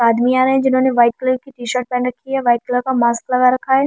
आदमी आ रहे हैं जिन्होंने वाइट कलर की टीशर्ट पहन रखी है वाइट कलर का मास्क लगा रखा है।